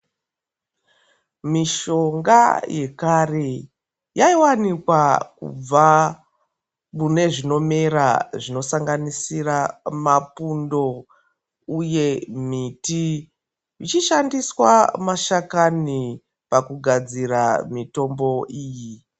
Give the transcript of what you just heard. Mishonga yekare yaivanikwa kubva mune zvinomera zvinosanganisira mapundo uye miti. Vachishandisa mashakani pakagadzira mitombo iyi